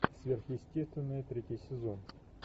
сверхъестественное третий сезон